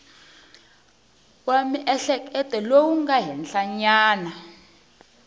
wa miehleketo lowu nga henhlanyana